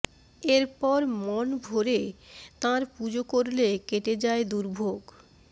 এরপর মন ভরে তাঁর পুজো করলে কেটে যায় দুর্ভোগ